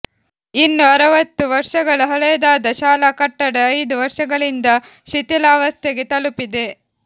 ಇನ್ನು ಅರವತ್ತು ವರ್ಷಗಳ ಹಳೆಯದಾದ ಶಾಲಾ ಕಟ್ಟಡ ಐದು ವರ್ಷಗಳಿಂದ ಶಿಥಿಲಾವಸ್ಥೆಗೆ ತಲುಪಿದೆ